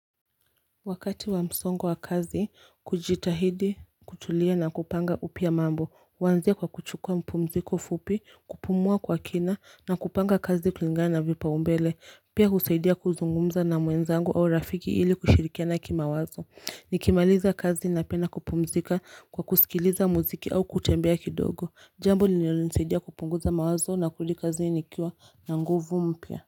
Wakati wa msongo wa kazi kujitahidi kutulia na kupanga upya mambo huanzia kwa kuchukua mpumziko fupi kupumua kwa kina na kupanga kazi klingana vipaumbele pia husaidia kuzungumza na mwenzangu au rafiki hili kushirikiana kimawazo Nikimaliza kazi napenda kupumzika kwa kusikiliza muziki au kutembea kidogo jambo linalonilisaidia kupunguza mawazo nakulikazi nikiwa na nguvu mpya.